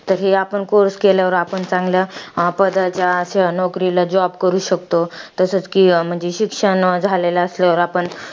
तर हे आपण course केल्यावर आपण चांगल्या पदाच्या किंवा नोकरीला job करू शकतो. तसचं कि, म्हणजे शिक्षण झालेलं असल्यावर